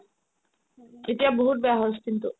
এতিয়া বহুত বেয়া হ'ল skin টো